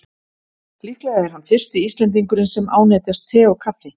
Líklega er hann fyrsti Íslendingurinn sem ánetjast te og kaffi.